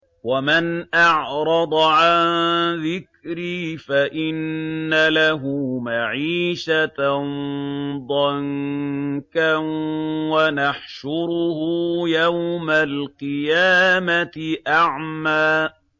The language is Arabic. وَمَنْ أَعْرَضَ عَن ذِكْرِي فَإِنَّ لَهُ مَعِيشَةً ضَنكًا وَنَحْشُرُهُ يَوْمَ الْقِيَامَةِ أَعْمَىٰ